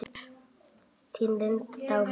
Þín, Linda Dagmar.